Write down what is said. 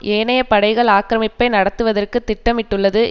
ஏனைய படைகள் ஆக்கிரமிப்பை நடத்துதற்கு திட்டமிட்டுள்ளது